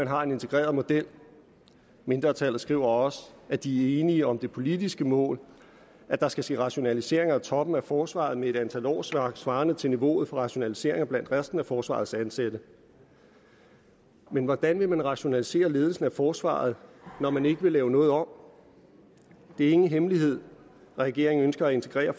har en integreret model mindretallet skriver også at de er enige om det politiske mål at der skal ske rationaliseringer af toppen af forsvaret med et antal årsværk svarende til niveauet for rationaliseringer blandt resten af forsvarets ansatte men hvordan vil man rationalisere ledelsen af forsvaret når man ikke vil lave noget om det er ingen hemmelighed regeringen ønsker at integrere